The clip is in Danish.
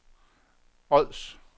Ods